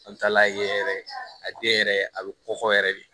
An taala yen yɛrɛ a den yɛrɛ a bɛ kɔkɔ yɛrɛ de